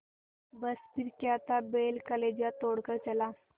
बस फिर क्या था बैल कलेजा तोड़ कर चला